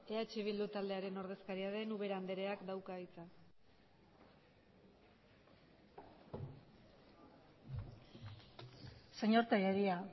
eh bildu taldearen ordezkaria den ubera andreak dauka hitza señor tellería